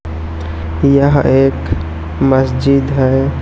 यह एक मस्जिद है।